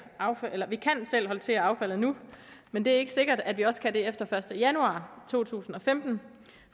håndtere affaldet nu men det er ikke sikkert at vi også kan det efter den første januar to tusind og femten